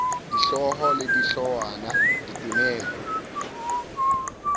dihlooho le di hloohwana ditemeng